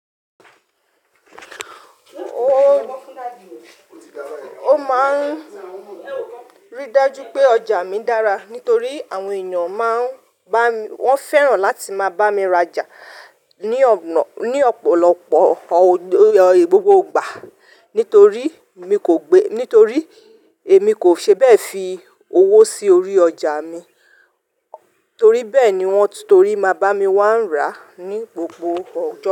O máa ń rí dájú pé ọjà mi dára nítorí àwọn èèyàn máa ń bá mi, wọ́n fẹ́ràn láti máa bá mi rajà ni ona ní ọ̀pọ̀lọpọ̀ gbogbo ìgbà nítorí èmi kò ṣe bẹ́ẹ̀ fi owó sí orí ọjà mi, torí bẹ́ẹ̀ ni wọ́n torí máa bá mi wá ń ra ní gbogbo ọjọ́